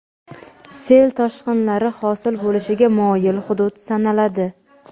sel-toshqinlari hosil bo‘lishiga moyil hudud sanaladi.